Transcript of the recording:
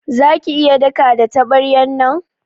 Za ki iya daka da tabaryan nan?